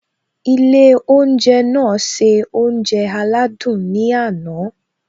Ilé oúnjẹ náà se oúnjẹ aládùn ní àná